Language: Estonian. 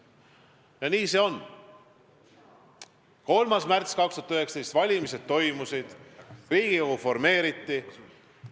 Jah, nii see on: 3. märtsil 2019 toimusid valimised ja Riigikogu formeeriti.